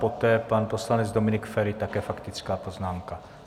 Poté pan poslanec Dominik Feri, také faktická poznámka.